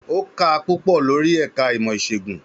Ó kà á púpọ̀ lórí ẹ̀ka ìmọ̀ ìṣègùn.